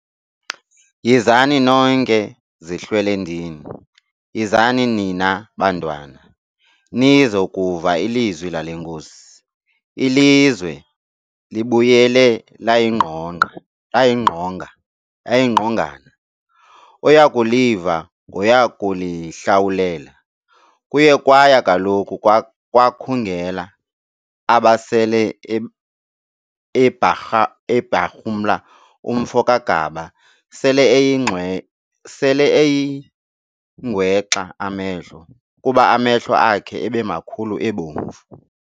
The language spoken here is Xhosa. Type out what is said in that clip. Yhizani nonke zihlwelendini, yhizani nina bantwana, nizokuva izwi lale Nkosi, ilizwe libuyele layingqongana, oyakuliva ngoyakulihlawulela. Kuye kwaya kaloku kwakhungela, abesele ebharhumla umfo kaGaba sele eyingwexa amehlo, kuba amehlo akhe ebemakhulu ebomvu.